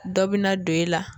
Dɔ bi na don e la